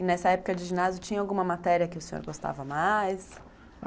E nessa época de ginásio, tinha alguma matéria que o senhor gostava mais?